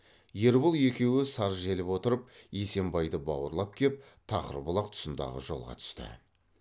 ербол екеуі саржеліп отырып есембайды бауырлап кеп тақырбұлақ тұсындағы жолға түсті